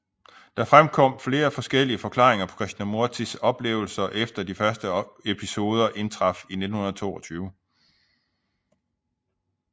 Der fremkom flere forskellige forklaringer på Krishnamurtis oplevelser efter de første episoder indtraf i 1922